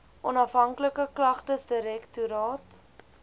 onhafhanklike klagtesdirek toraat